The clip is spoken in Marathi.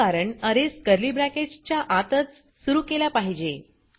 याचे कारण अरेज कर्ली ब्रॅकेट्स च्या आतच सुरू केला पाहिजे